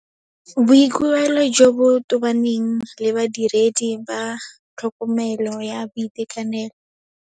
Boikuelo jo bo tobaneng le Badiredi ba tlhokomelo ya boitekanelo.